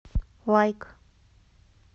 лайк